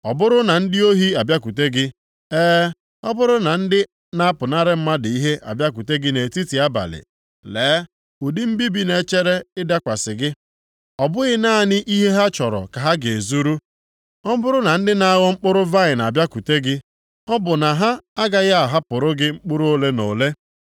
“Ọ bụrụ na ndị ohi abịakwute gị, e, ọ bụrụ na ndị na-apụnara mmadụ ihe abịakwute gị nʼetiti abalị, lee, ụdị mbibi na-echere ịdakwasị gị! Ọ bụghị naanị ihe ha chọrọ ka ha ga-ezuru? Ọ bụrụ na ndị na-aghọ mkpụrụ vaịnị abịakwute gị, ọ bụ na ha agaghị ahapụrụ gị mkpụrụ ole na ole?